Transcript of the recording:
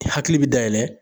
I hakili bɛ dayɛlɛ